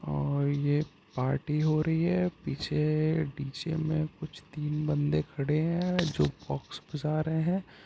और ये पार्टी हो रही है| पीछे डी_जे में कुछ तीन बंदे खड़े है जो बॉक्स बजा रहे है।